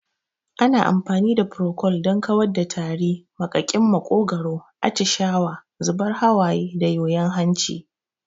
Ana amfani da furokol don kawar da tari, maƙaƙin maƙogwaro, atishawa, zubar hawaye da yoyon hanci.